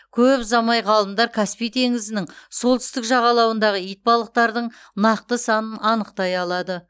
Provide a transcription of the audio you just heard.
көп ұзамай ғалымдар каспий теңізінің солтүстік жағалауындағы итбалықтардың нақты санын анықтай алады